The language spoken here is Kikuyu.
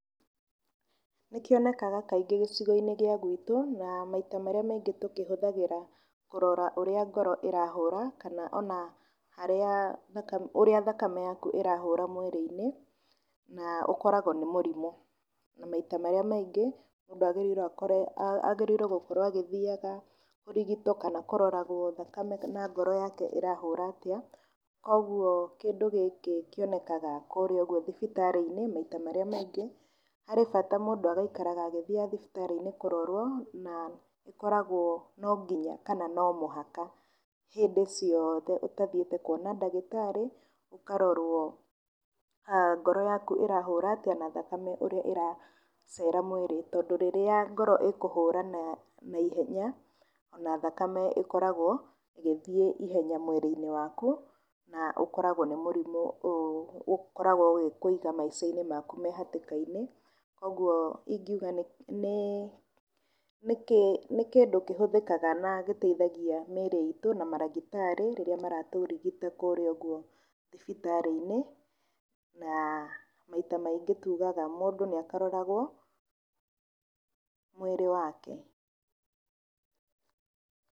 Nĩ kĩonekaga kaingĩ gĩcigo-inĩ gĩa guitũ na maita marĩa maingĩ tũkĩhũthagĩra kũrora ũrĩa ngoro ĩrahũũra kana ona ũrĩa thakame yaku ĩrahũra mwĩrĩ-inĩí, na ũkoragwo nĩ mũrimũ, na maita marĩa maingĩ, mũndũ agĩrĩirwo gũkorwo agĩthiaga kũrigitwo kana kũroragwo thakame na ngoro yake ĩrahũũra atĩa, koguo kĩndũ gĩkĩ kĩonekaga kũrĩa ũgũo thibitarĩ-inĩ maita marĩa maingĩ, harĩ bata mũndũ agaikaraga agĩthiaga thibitarĩ-inĩ kũrorwo na ũkoragwo no nginya kana no mũhaka, hĩndĩ cioothe ũtathĩĩte kuona ndagĩtarĩ ũkarorwo ngoro yaku ĩrahũra atĩa, na thakame ũrĩa ĩraceera mwĩrĩ. Tondũ rĩrĩa ngoro ĩkũhũũra na ihenya ona thakame ĩkoragwo ĩgĩthiĩ na ihenya mwĩrĩ-inĩ waku na ũkoragwo nĩ mũrimũ, ũkoragwo ũgĩkũiga maĩca maku me hatĩka-inĩ. Koguo ingiuga nĩ kĩndũ kĩhũthĩkaga na gĩteithagia mĩĩrĩ iitũ na marĩgĩtarĩ, rĩrĩa maratũrigita kũrĩa ũguo thibitarĩ-inĩ na maita maingĩ tugaga mũndũ nĩ akaroragwo mwĩrĩ wake.